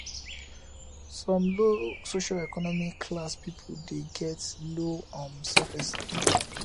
some low socioeconomic class pipo de get low um self esteem